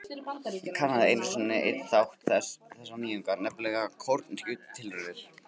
Ég kannaði einu sinni einn þátt þessara nýjunga, nefnilega kornyrkjutilraunir.